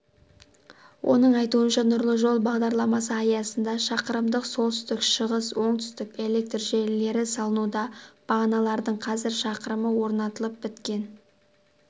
оның айтуынша нұрлы жол бағдарламасы аясында шақырымдық солтүстік-шығыс-оңтүстік электр желілері салынуда бағаналардың қазір шақырымы орнатылып біткен